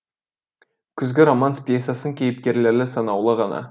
күзгі романс пьсасының кейіпкерлері санаулы ғана